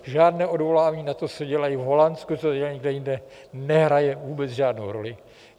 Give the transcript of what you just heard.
Žádné odvolání na to, co dělají v Holandsku, co dělají někde jinde nehraje vůbec žádnou roli.